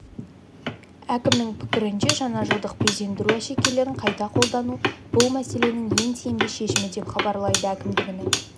әкімнің пікірінше жаңажылдық безендіру әшекейлерін қайта қолдану бұл мәселенің ең тиімді шешімі деп хабарлайды әкімдігінің